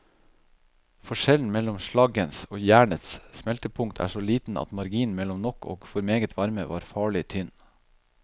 Forskjellen mellom slaggens og jernets smeltepunkt er så liten at marginen mellom nok og for meget varme var farlig tynn.